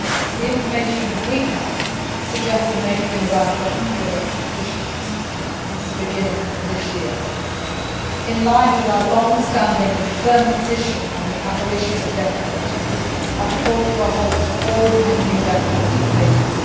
The information we have suggests there may have been around 100 executions since the beginning of this year. In line with our longstanding and firm position on the abolition of the death penalty, I have called for a halt to all pending death penalty cases.